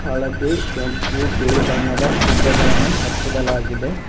ಹಳದಿ ಕೆಂಪು ಬಿಳಿ ಬಣ್ಣದ ಪುಗ್ಗಗಳನ್ನು ಹಚ್ಚಿಡಲಾಗಿದೆ.